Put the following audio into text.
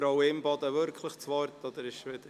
Frau Imboden wirklich das Wort oder ist es wieder …